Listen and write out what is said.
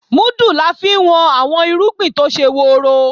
Múdù la fi ń wọn àwọn irúgbìn tó ṣe woro